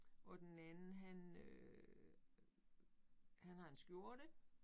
Og den anden han øh han har en skjorte